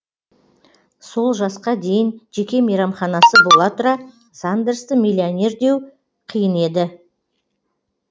сол жасқа дейін жеке мейрамханасы бола тұра сандерсті миллионер деу қиын еді